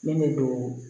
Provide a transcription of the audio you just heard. Min bɛ don